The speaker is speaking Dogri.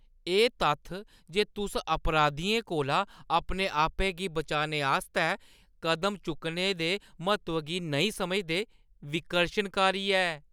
एह् तत्थ जे तुस अपराधियें कोला अपने आपै गी बचाने आस्तै कदम चुक्कने दे म्हत्तव गी नेईं समझदे, विकर्शनकारी ऐ।